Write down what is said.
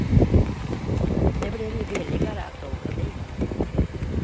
Det blir ju billigare att åka dit.